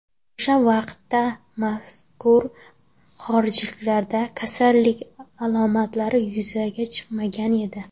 O‘sha vaqtda mazkur xorijliklarda kasallik alomatlari yuzaga chiqmagan edi.